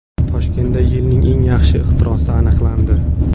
Toshkentda yilning eng yaxshi ixtirosi aniqlandi.